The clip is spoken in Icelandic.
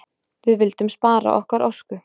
Við vildum spara okkar orku.